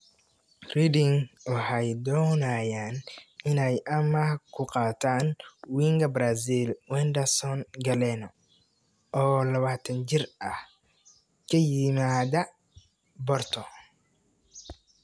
(Huddersfield Examiner) Reading waxay doonayaan inay amaah ku qaataan winga Brazil Wenderson Galeno, oo 21 jir ah, ka yimaada Porto.